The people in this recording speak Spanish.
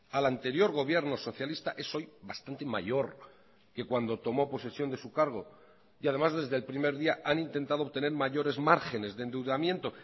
al anterior gobierno socialista es hoy bastante mayor que cuando tomó posesión de su cargo y además desde el primer día han intentado obtener mayores márgenes de endeudamiento